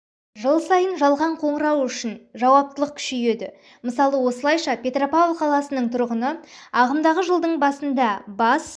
жыл сайын жалған шақыру үшін жауаптылық күшейеді мысалы осылайша петропавл қаласының тұрғыны ағымдағы жылдың басында бас